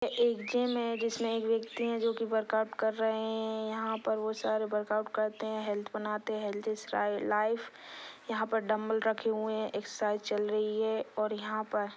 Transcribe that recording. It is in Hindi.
एक जिम है जिसमे एक वेक्ती जो की वर्कआउट कर रहे है यहा पर बहुत सारे वर्कआउट करते है। हेल्थ बनाते है हेल्थ इज लाइफ यहाँ पर डम्बल रखे हुए है एक्सरसाइज चल रही है और यहाँ पर--